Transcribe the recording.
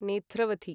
Netravathi